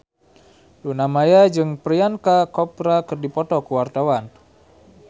Luna Maya jeung Priyanka Chopra keur dipoto ku wartawan